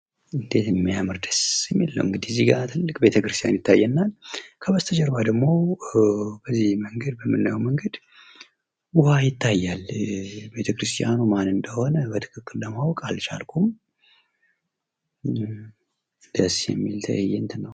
እንዴት የሚያመር እና ደስ የሚል ነው እንግዲህ እዚህ ጋ እጂግ የሚያምር ቤተ ክርስቲያን ይታየናል። ከበስተጀርባ ደግሞ በመለያው መንገድ ዉሃ ይታያል። ቤተክርስቲያኑ ማን እንደሆነ በትክክል ማወቅ አልቻልኩም። ደስ የሚል ትይንት ነው።